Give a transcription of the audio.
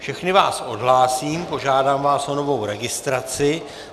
Všechny vás odhlásím, požádám vás o novou registraci.